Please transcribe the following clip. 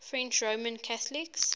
french roman catholics